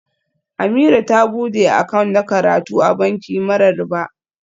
Ameerah ta bude account na karatu a banki mara riba